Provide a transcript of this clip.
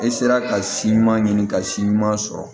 E sera ka si ɲuman ɲini ka si ɲuman sɔrɔ